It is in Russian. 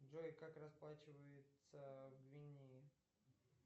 джой как расплачиваются в гвинее